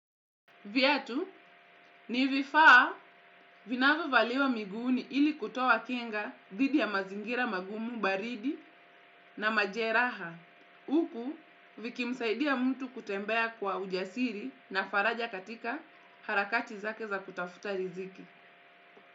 Viatu, ni vifaa vinavyo valiwa miguuni ili kutoa kinga dhidi ya mazingira magumu baridi na majeraha. Huku, vikimsaidia mtu kutembea kwa ujasiri na faraja katika harakati zake za kutafuta riziki.